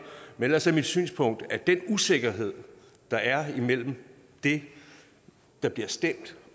men ellers er mit synspunkt at den usikkerhed der er imellem det der bliver stemt